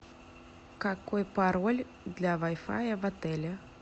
какой пароль для вай фая в отеле